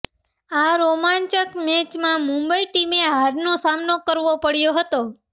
આ રોમાંચક મેચમાં મુંબઇ ટીમે હારનો સામનો કરવો પડ્યો હતો